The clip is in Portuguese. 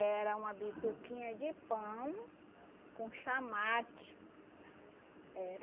uma bituquinha de pão com chá mate. Era.